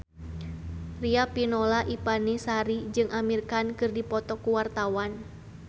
Riafinola Ifani Sari jeung Amir Khan keur dipoto ku wartawan